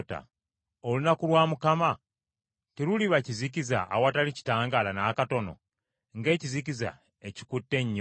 Olunaku lwa Mukama , teruliba kizikiza awatali kitangaala n’akatono, ng’ekizikiza ekikutte ennyo?